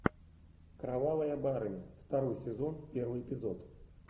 кровавая барыня второй сезон первый эпизод